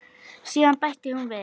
Síðan bætti hún við.